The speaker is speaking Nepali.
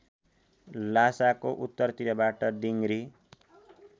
ल्हासाको उत्तरतिरबाट दिङरी